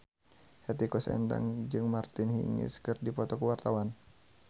Hetty Koes Endang jeung Martina Hingis keur dipoto ku wartawan